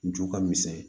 Ju ka misɛn